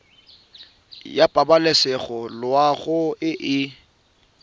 ya pabalesego loago e e